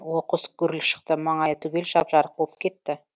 оқыс гүріл шықты маңайы түгел жап жарық болып кетті